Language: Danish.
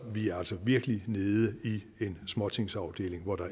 vi er altså virkelig nede i en småtingsafdeling hvor der